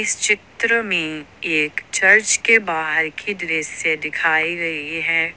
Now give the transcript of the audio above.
इस चित्र में एक चर्च के बाहर की दृश्य दिखाई गई है।